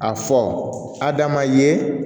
A fɔ hadama ye